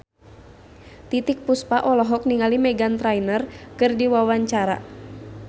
Titiek Puspa olohok ningali Meghan Trainor keur diwawancara